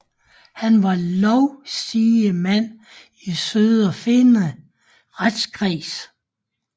Han var lovsigemand i Söderfinne retskreds